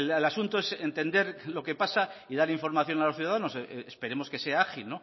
el asunto es entender lo que pasa y dar información a los ciudadanos esperemos que sea ágil